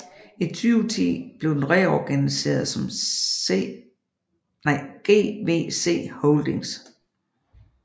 I 2010 blev den reorganiseret som GVC Holdings